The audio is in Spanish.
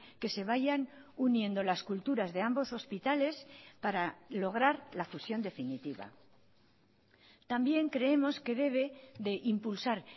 que se vayan uniendo las culturas de ambos hospitales para lograr la fusión definitiva también creemos que debe de impulsar